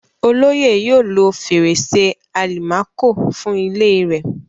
Olóyè yóò lo fèrèsé àlìmákò fún ilée rẹ̀.